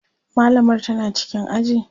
mallamar tana cikin aji?